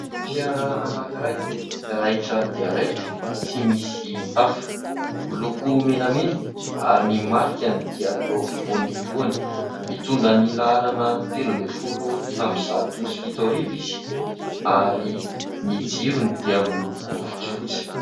Fiara anankiray raitra dia raitra, tsy misy tafo, miloko menamena ary ny markany dia eo afovoan'ny lohany. Mitondra ny laharana telo ambiafolo amin'ny zato sy fito arivo izy ary ny jirony dia miloko fotsifotsy.